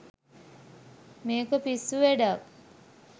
මේක පිස්සු වැඩක්